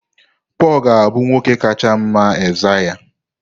Pọl ga-abụ nwoke kacha mma Aịzaya.